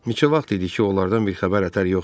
Neçə vaxt idi ki, onlardan bir xəbər-ətər yox idi.